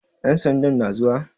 Ƴan sandan na zuwa?